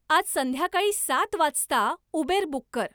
आज संध्याकाळी सात वाजता उबेर बुक कर